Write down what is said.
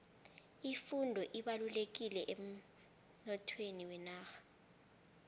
ifundo ibalulekile emnothweni wenarha